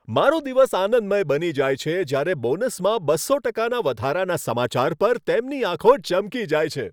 મારો દિવસ આનંદમય બની જાય છે જ્યારે બોનસમાં બસો ટકાના વધારાના સમાચાર પર તેમની આંખો ચમકી જાય છે.